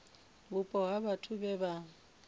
vhupo ha vhathu vhe vha